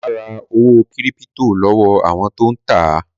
Mà á ra owó kírípító lọ́wọ́ àwọn tó ń tà á.